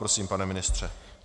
Prosím, pane ministře.